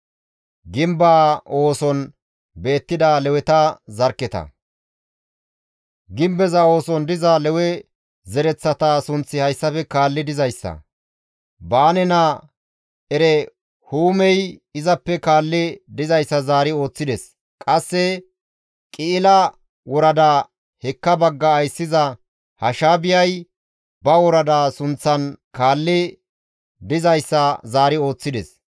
Gimbeza ooson diza Lewe zereththata sunththi hayssafe kaalli dizayssa; Baane naa Erehuumey izappe kaalli dizayssa zaari ooththides; qasse Qi7ila worada hekka bagga ayssiza Hashaabiyay ba worada sunththan kaalli dizayssa zaari ooththides.